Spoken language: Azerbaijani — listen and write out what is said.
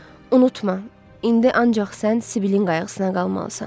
Unutma, indi ancaq sən Sibilin qayğısına qalmalısan.